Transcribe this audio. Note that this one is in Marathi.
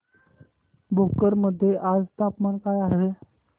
भोकर मध्ये आज तापमान काय आहे